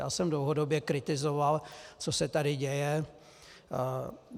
Já jsem dlouhodobě kritizoval, co se tady děje.